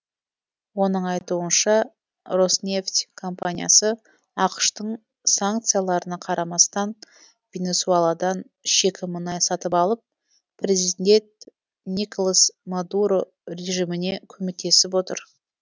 оның айтуынша роснефть компаниясы ақш тың санкцияларына қарамастан венесуэладан шикі мұнай сатып алып президент николас мадуро режиміне көмектесіп отыр